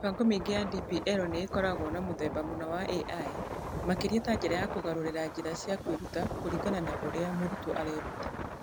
Mĩbango mĩingĩ ya DPL nĩ ĩkoragwo na mũthemba mũna wa AI, makĩria ta njĩra ya kũgarũrĩra njĩra cia kwĩruta kũringana na ũrĩa mũrutwo areruta.